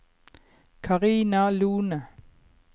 Carina Lohne